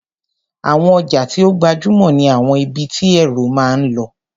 Àwọn ọjà tí ó gbajúmò ní àwọn ibi tí èrò máa ń lọ.